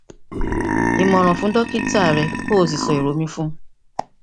ìmòràn fún dókítà rẹ kó o sì sọ èrò mi fún un